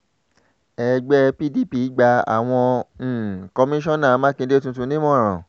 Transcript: ẹgbẹ́ pdp gba àwọn um kọmíṣánná mákindè tuntun nímọ̀ràn